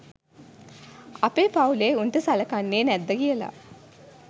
අපේ පවුලේ උන්ට සලකන්නේ නැද්ද කියල.